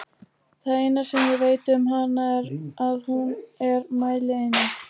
Það eina sem ég veit um hana er að hún er mælieining!